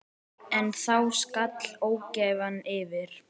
En þá skall ógæfan yfir.